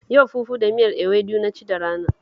Yau fufu da miyar ewedu na ci da rana